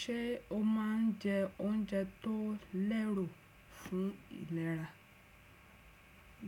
Ṣé o máà ń jẹ oúnjẹ tó lẹ́rò fún ìlera?